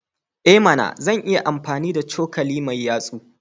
I mana! Zan iya amfani da cokali mai yatsa.